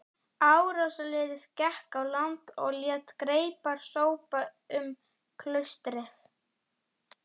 Árásarliðið gekk á land og lét greipar sópa um klaustrið.